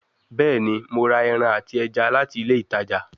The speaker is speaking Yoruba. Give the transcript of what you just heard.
Bẹẹni, Mo ra ẹran ati ẹja lati ile itaja